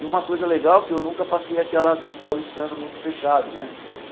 E uma coisa legal é que eu nunca passei aquela do paulistano muito fechado, né?